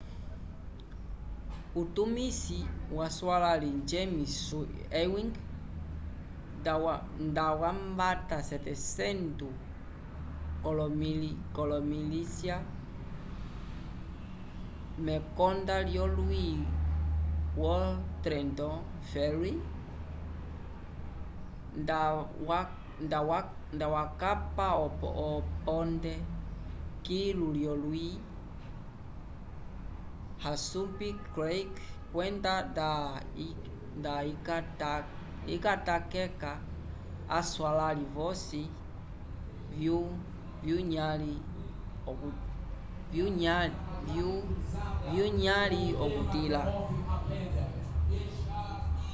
utumisi waswãlali james ewing ndawambata 700 k'olomilisya mekonda lyolwi vo trenton ferry nda wakapa oponte kilu lyolwi assunpink creek kwenda nda ikatateka aswãlali vosi vyunyãli okutila